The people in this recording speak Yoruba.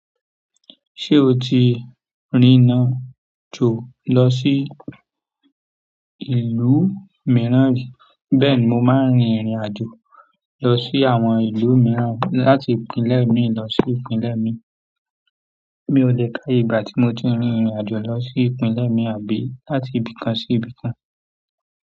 Ṣé o ti rìnrìn àjò lọ sí ìlú mìíràn ri? Bẹ́ẹ̀ni, mo máa ń rin ìrìn àjò lọ sí àwọn ìlú mìíràn láti ìpínlẹ̀ mi lọ sí ìpínlẹ̀ mi. Mi ò lè káye ìgbà tí mo ti rìnrìn àjò lọ sí ìpínlẹ̀ mi àbí láti ibìkan sí ibìkan.